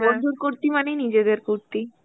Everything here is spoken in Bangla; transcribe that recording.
বন্ধুর কুর্তি মানেই নিজেদের কুর্তি.